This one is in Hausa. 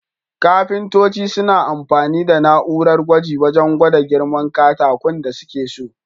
Kafintoci suna amfani da na'urar gwaji wajan gwada girman katakun da suke so.